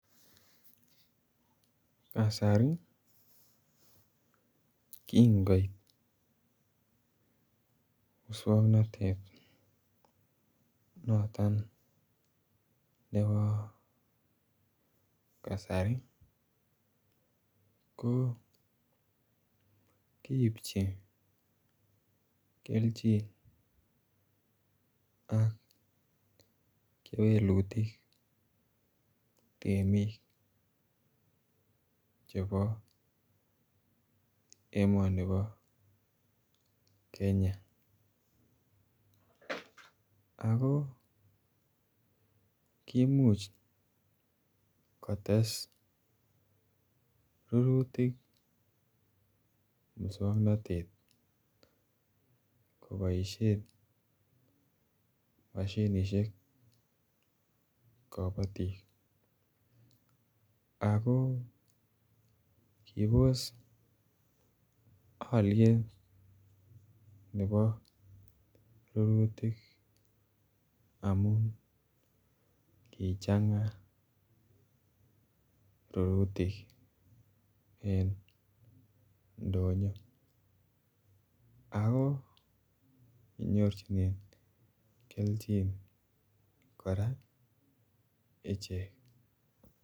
Kasari kingoit muswongnotet noton nebo kasari ko kiibji kelchin ak kewelutik temik chebo emoni bo Kenya ako kimuch kotes rurutik muswongnotet ko boishen moshinishek kobotik ako kibos olyet nebo rurutik amun kichanga rurutik en ndonyo ako kichorjinen kelchin koraa ichek